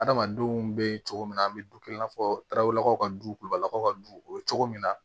Adamadenw bɛ cogo min na an bɛ dukɛ i n'a fɔ tarawelelaw ka du kulubalakaw ka du o cogo min na